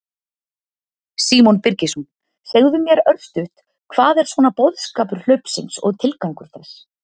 Símon Birgisson: Segðu mér örstutt, hvað er svona boðskapur hlaupsins og tilgangur þess?